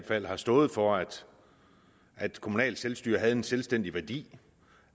fald har stået for at kommunalt selvstyre havde en selvstændig værdi